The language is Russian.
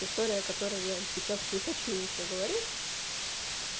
история которая я сейчас не хочу ничего говорить